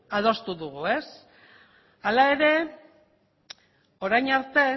adostu dugu ez hala ere orain arte